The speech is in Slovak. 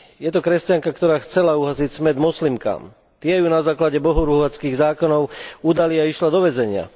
Je to kresťanka, ktorá chcela uhasiť smäd moslimkám, tie ju na základe bohorúhačských zákonov udali a išla do väzenia.